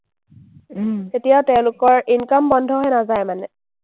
তেতিয়াও তেওঁলোকৰ income বন্ধ হৈ নাযায় মানে।